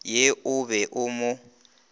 ye o be o mo